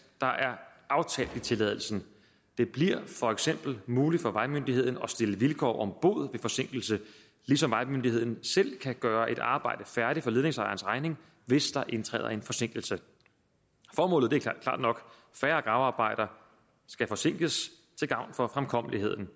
der er aftalt i tilladelsen det bliver for eksempel muligt for vejmyndigheden at stille vilkår om bod ved forsinkelse ligesom vejmyndigheden selv kan gøre et arbejde færdigt for ledningsejerens regning hvis der indtræder en forsinkelse formålet er klart nok færre gravearbejder skal forsinkes til gavn for fremkommeligheden